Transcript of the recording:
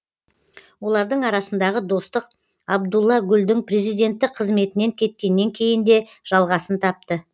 олардың арасындағы достық абдулла гүлдің президенттік қызметінен кеткеннен кейін де жалғасын тапты